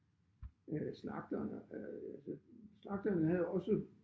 Øh slagterne øh altså slagterne havde også